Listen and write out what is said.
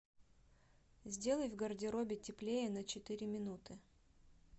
сделай в гардеробе теплее на четыре минуты